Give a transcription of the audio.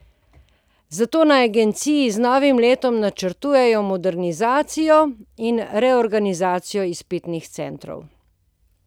Zato na agenciji z novim letom načrtujejo modernizacijo in reorganizacijo izpitnih centrov.